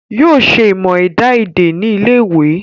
Yóò ṣe ìmọ̀ ẹ̀dá èdè ní ilé ìwé